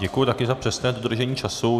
Děkuji také za přesné dodržení času.